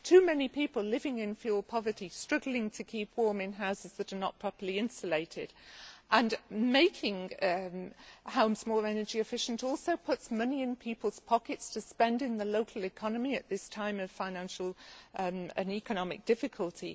Too many people are living in fuel poverty, struggling to keep warm in houses that are not properly insulated. Making homes more energy efficient puts money in people's pockets to spend in the local economy at this time of financial and economic difficulty.